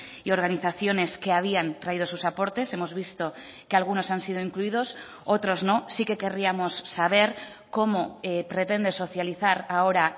y organizaciones que habían traído sus aportes hemos visto que algunos han sido incluidos otros no sí que querríamos saber cómo pretende socializar ahora